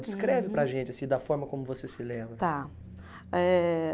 Descreve para a gente assim da forma como você se lembra. Tá. Eh